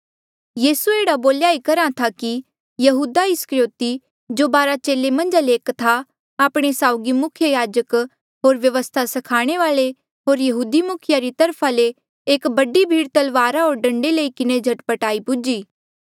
यीसू एह्ड़ा बोल्या ई करहा था कि यहूदा इस्करयोति जो बारा चेले मन्झा ले एक था आपणे साउगी मुख्य याजक होर व्यवस्था स्खाणे वाल्ऐ होर यहूदी मुखिये री तरफा ले एक बडी भीड़ तलवारा होर डंडे लई किन्हें झट पट आई पुज्ही